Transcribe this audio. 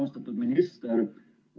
Austatud minister!